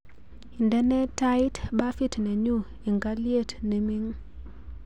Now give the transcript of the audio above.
Indenee tait bafit nenyu eng aliet neming